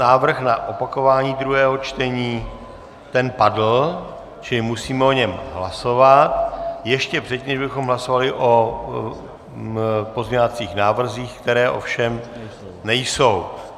Návrh na opakování druhého čtení, ten padl, čili musíme o něm hlasovat ještě předtím, než bychom hlasovali o pozměňovacích návrzích, které ovšem nejsou.